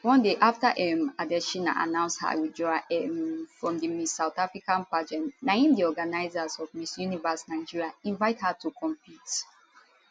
one day afta um adetshina announce her withdrawal um from di miss south africa pageant na im di organizers of miss universe nigeria invite her to compete